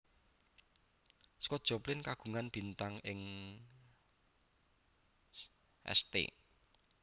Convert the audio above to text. Scott Joplin kagungan bintang ing St